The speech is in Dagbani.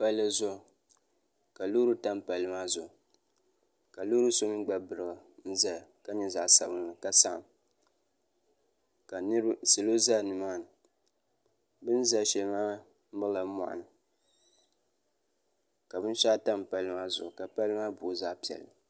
pali zuɣ' ka lori tam pali maa zuɣ' ka lori so mi gba berigi n zaya ka nyɛ zaɣ' sabilinli ka salo za nimaani bɛn za shɛli maa mɛrila moni ka bɛn shɛgu tampali maa zuɣ ka pali maa boi zaɣ' pɛli